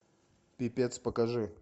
пипец покажи